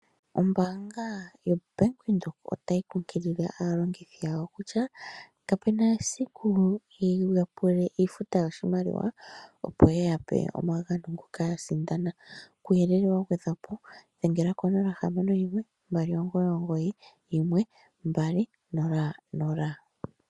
Ombaanga yo Bank Widhoek otayi kunkilile aalongithi yawo kutya, kapuna esiku yiya pule iifuta yoshimaliwa opo ye yape omagano ngoka ya sindana. Kuuyelele wa gwedhwapo dhenga ko 0612991200.